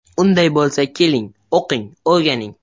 Unday bo‘lsa, keling, o‘qing, o‘rganing!